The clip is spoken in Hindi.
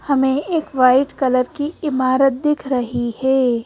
हमें एक व्हाइट कलर की इमारत दिख रही है।